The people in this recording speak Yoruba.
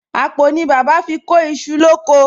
Àpò ni bàbá fi kó iṣu lóko